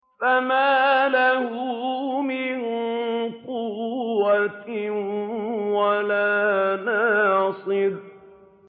فَمَا لَهُ مِن قُوَّةٍ وَلَا نَاصِرٍ